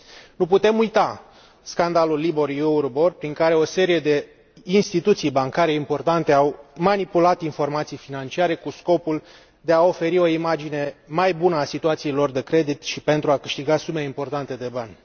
Nu putem uita scandalul LIBOR EURIBOR, prin care o serie de instituții bancare importante au manipulat informații financiare cu scopul de a oferi o imagine mai bună a situației lor de credit și pentru a câștiga sume importante de bani.